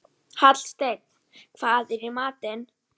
Svenni situr nokkra stund við símann, getur sig hvergi hrært.